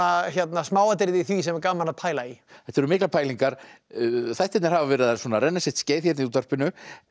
smáatriði í því sem er gaman að pæla í þetta eru miklar pælingar þættirnir hafa verið að renna sitt skeið í útvarpinu